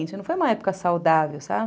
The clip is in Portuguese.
Não foi uma época saudável, sabe?